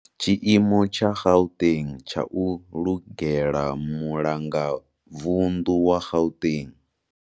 Tshiimo tsha Gauteng tsha u lugela Mulanga vundu wa Gauteng.